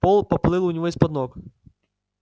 пол поплыл у него из-под ног